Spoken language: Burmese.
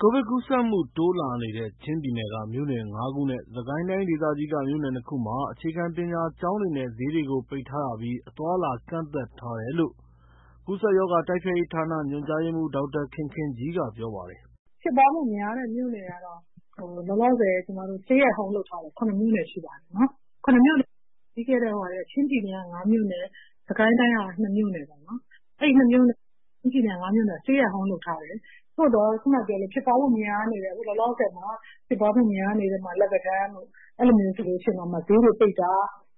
ကိုဗစ်ကူးစက်မှု တိုးလာနေတဲ့ ချင်းပြည်နယ်က မြို့နယ် ၅ ခုနဲ့ စကိုင်းတိုင်းဒေသကြီးက မြို့နယ်နှစ်ခုမှာ အခြေခံပညာကျောင်းတွေနဲ့ ဈေးတွေကိုပိတ်ထားရပြီး အသွားအလာ ကန့်သတ်ထားတယ်လို့ ကူးစက်ရောဂါ တိုက်ဖျက်ရေးဌာန ညွှန်ကြားရေးမှူး ဒေါက်တာခင်ခင်ကြီးကပြောပါတယ်။ “ဖြစ်ပွားမှု အများဆုံးမြို့နယ်ကတော့ လောလောဆယ် ကျမတို့ Stay Home လုပ်ထားတဲ့ ၇ မြို့နယ်ရှိပါ တယ်နော်။ ချင်းပြည်နယ်က ၅ မြို့နယ် စကိုင်းတိုင်းက ၂ မြို့နယ်။ အဲဒီမြို့တွေက stay at home လုပ်ထား တယ်။ သို့သော် လောလောဆယ်မှာ ဖြစ်ပွားမှုများနေတဲ့ လက်ပံတန်းတို့၊ အဲလိုဆိုရင် ဈေးတွေပိတ်တာ